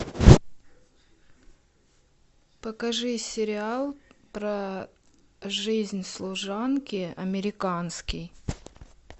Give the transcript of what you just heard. покажи сериал про жизнь служанки американский